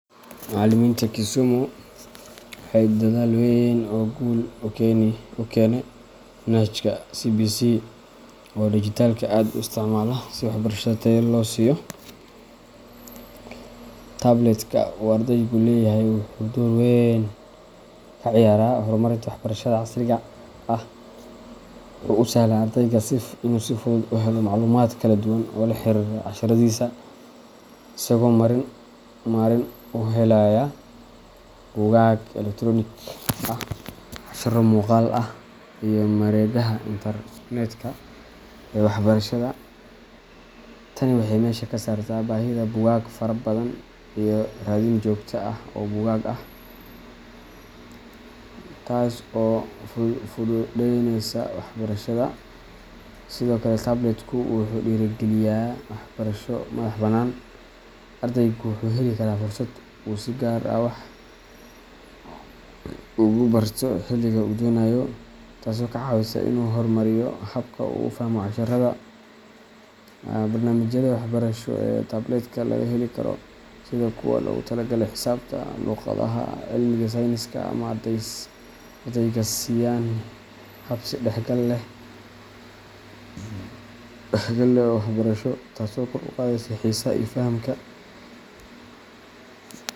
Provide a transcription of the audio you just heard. Macaliminta Kisumu waxey dadhal weyn oo guul u kene manhajka CBC oo digitalka aad u isticmala si waxbarshada tayo loo siyo. Tablet-ka uu ardaygu leeyahay wuxuu door weyn ka ciyaaraa horumarinta waxbarashada casriga ah. Waxa uu u sahlaa ardayga in uu si fudud u helo macluumaad kala duwan oo la xiriira casharradiisa, isagoo marin u helaya buugaag elektaroonik ah, casharro muuqaal ah, iyo mareegaha internet-ka ee waxbarashada. Tani waxay meesha ka saartaa baahida buugaag fara badan iyo raadin joogto ah oo buugag ah, taas oo fududaynaysa waxbarashada. Sidoo kale, tablet-ku wuxuu dhiirrigeliyaa waxbarasho madax-bannaan. Ardaygu wuxuu heli karaa fursad uu si gaar ah wax ugu barto xilliga uu doonayo, taasoo ka caawisa in uu horumariyo habka uu u fahmo casharrada. Barnaamijyada waxbarasho ee tablet-ka laga heli karo, sida kuwa loogu talagalay xisaabta, luqadaha, iyo cilmiga sayniska, waxay ardayga siiyaan hab is-dhexgal leh oo waxbarasho, taasoo kor u qaadaysa xiisaha iyo fahamka.